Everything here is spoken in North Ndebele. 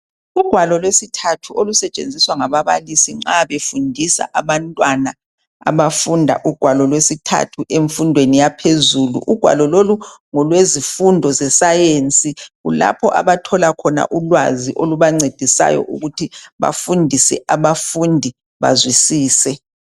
Ugwalo lwesithathu olusetshenziswa ngababalisi nxa befundisa abantwana abafunda ugwalo lwesithathu emfundweni yaphezulu. Ugwalo lolu ngolwezifundo zesayensi kulapha abathola khona ulwazi olubancedisayo khona ukuthi bafundise abafundi bazwisise.